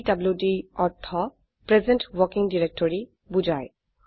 PDD অৰ্থ present working directory বোঝায়